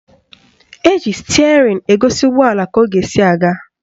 Eji stịerịn egosi ụgbọala ka ọ ga-esi aga